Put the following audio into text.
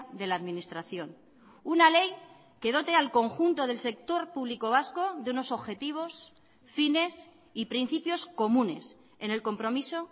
de la administración una ley que dote al conjunto del sector público vasco de unos objetivos fines y principios comunes en el compromiso